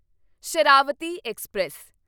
Sharavathi express